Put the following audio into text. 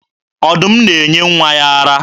Ọdụm na-enye nwa ya ara.